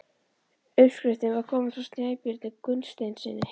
Uppskriftin er komin frá Snæbirni Gunnsteinssyni.